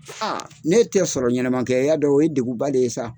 A ne tɛ sɔrɔ ɲɛnɛmankɛ y'a dɔ o ye degun ba de ye sa.